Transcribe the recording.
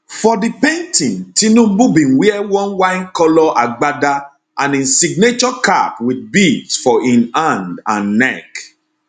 for di painting tinubu bin wear one winecolour agbada and im signature cap wit beads for im hand and neck